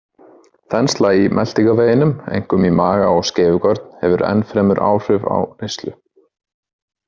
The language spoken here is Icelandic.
Þensla í meltingarveginum, einkum í maga og skeifugörn, hefur ennfremur áhrif á neyslu.